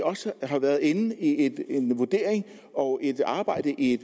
også har været inde i en vurdering og et arbejde i